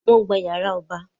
Wọ́n gba yàrá ọba